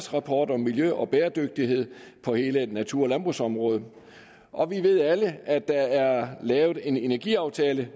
rapport om miljø og bæredygtighed på hele natur og landbrugsområdet og vi ved alle at der er lavet en energiaftale